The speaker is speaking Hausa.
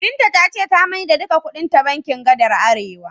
Binta ta ce ta maida duka kuɗinta bankin gadar Arewa.